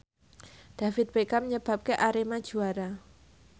David Beckham nyebabke Arema juara